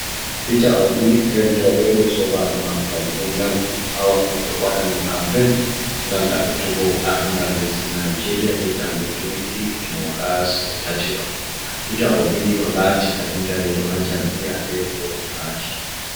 Peter Obi rentoɓe be sobajk mako kadi ɓe ɗon dardi ha wakkati o waɗanno kampen ngam ɗa ɓutugo ardungal lesdi Nigeria je hitande 2023 ɗo. Peter Obi ni o lati kadin dariɗo ha jam'iya lebo pati.